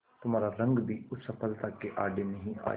तुम्हारा रंग भी उस सफलता के आड़े नहीं आएगा